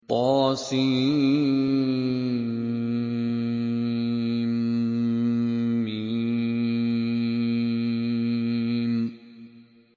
طسم